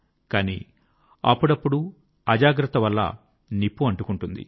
కానీ అప్పుడప్పుడూ అజాగ్రత్తవలన నిప్పు అంటుకుంటుంది